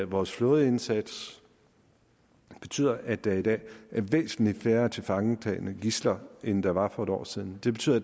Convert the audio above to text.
vores flådeindsats betyder at der i dag er væsentlig færre tilfangetagne gidsler end der var for et år siden det betyder at